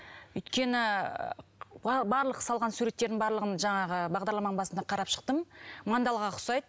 өйткені барлық салған суреттердің барлығын жаңағы бағдарламаның басында қарап шықтым мандалға ұқсайды